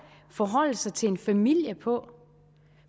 at forholde sig til en familie på